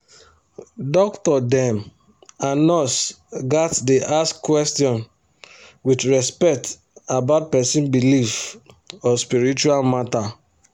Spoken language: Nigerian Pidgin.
doctor dem and nurse gats dey ask question with respect about person belief or spiritual matter